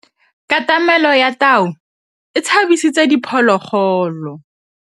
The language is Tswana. Katamêlô ya tau e tshabisitse diphôlôgôlô.